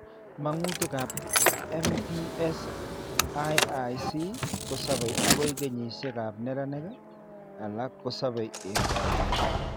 Mang'utik ab MPS IIIC kosabe agoi kenyishek ab neranik; alak kosabe en koindo